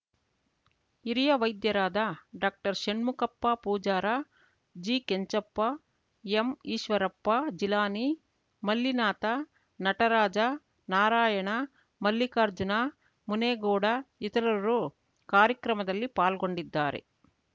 ಹಿರಿಯ ವೈದ್ಯರಾದ ಡಾಕ್ಟರ್ಷಣ್ಮುಖಪ್ಪ ಪೂಜಾರ ಜಿಕೆಂಚಪ್ಪ ಎಂಈಶ್ವರಪ್ಪ ಜಿಲಾನಿ ಮಲ್ಲಿನಾಥ ನಟರಾಜ ನಾರಾಯಣ ಮಲ್ಲಿಕಾರ್ಜುನ ಮುನೇಗೌಡ ಇತರರು ಕಾರ್ಯಕ್ರಮದಲ್ಲಿ ಪಾಲ್ಗೊಂಡಿದ್ದಾರೆ